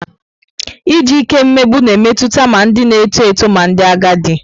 Iji ike emegbu na metụta ma ndị na-eto eto ma ndị agadi.